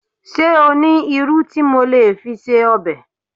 Ṣé o ní irú tí mo lè fi se ọbẹ̀?